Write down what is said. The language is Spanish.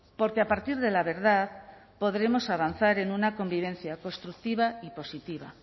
porque a partir de la verdad podremos avanzar en una convivencia constructiva y positiva